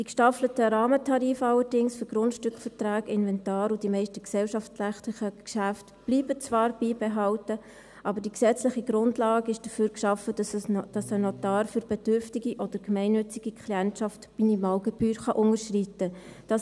Allerdings blieben die gestaffelten Rahmentarife für Grundstückverträge, Inventar und die meisten gesellschaftsrechtlichen Geschäfte zwar beibehalten, aber die gesetzliche Grundlage ist dafür geschaffen, dass ein Notar für bedürftige oder gemeinnützige Klientschaft die Minimalgebühr unterschreiten kann.